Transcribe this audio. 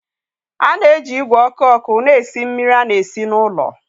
A na-eji ìgwè ọkụ ọkụ na-esi mmiri na-esi na ụlọ.